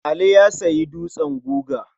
Ali ya sayi dutsen guga.